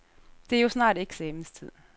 Der er jo snart eksamenstid.